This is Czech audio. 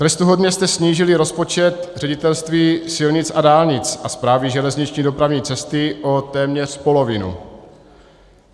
Trestuhodně jste snížili rozpočet Ředitelství silnic a dálnic a Správy železniční dopravní cesty o téměř polovinu.